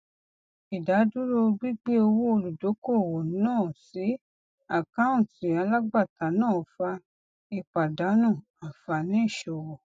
ìdádúró gbígbé owó olùdókòwò náà sí àkáùntì alagbata náà fa ìpàdánù ànfààní ìṣòwò